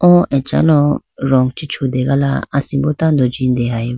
oo achalo rong chi chutegala asimbo tando jindegaybo.